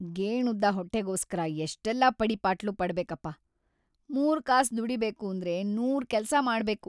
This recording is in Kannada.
ಗೇಣುದ್ದ ಹೊಟ್ಟೆಗೋಸ್ಕರ ಎಷ್ಟೆಲ್ಲ ಪಡಿಪಾಟ್ಲು ಪಡ್ಬೇಕಪ್ಪ, ಮೂರ್ಕಾಸ್‌ ದುಡೀಬೇಕೂಂದ್ರೆ ನೂರ್‌ ಕೆಲ್ಸ ಮಾಡ್ಬೇಕು.